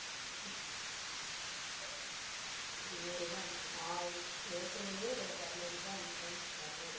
நூறு ரூபா அனுப்பணும் ஏற்கனவே அஹ் இருநூறு ரூபா அனுப்பறேனு இருநூறு